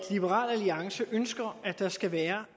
at liberal alliance ønsker at der skal være